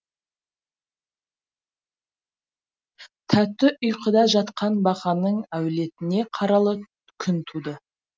тәтті ұйқыда жатқан бақаның әулетіне қаралы күн туды